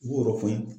Wɔɔrɔ fɛn